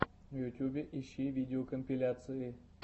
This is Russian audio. в ютубе ищи видеокомпиляции